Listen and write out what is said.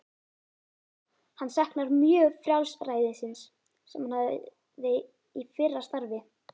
Hann saknar mjög frjálsræðisins sem hann hafði í fyrra starfi.